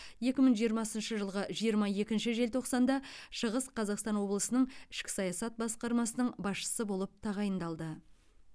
екі мың жиырмасыншы жылғы жиырма екінші желтоқсанда шығыс қазақстан облысының ішкі саясат басқармасының басшысы болып тағайындалды